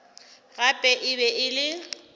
gape e be e le